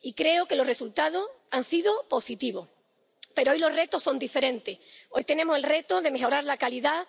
Y creo que los resultados han sido positivos. Pero hoy los retos son diferentes hoy tenemos el reto de mejorar la calidad